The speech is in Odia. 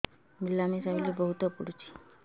ମିଳାମିଶା ବେଳେ ବହୁତ ପୁଡୁଚି